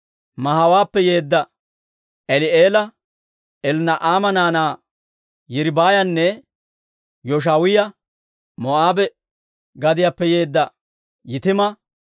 Mahaawaappe yeedda Eli'eela, Elnna'aama naanaa Yiriibaayanne Yooshaawiyaa, Moo'aabe gadiyaappe yeedda Yitima,